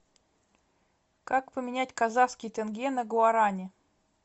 как поменять казахский тенге на гуарани